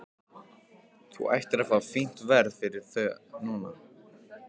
Þú ættir að fá fínt verð fyrir það núna.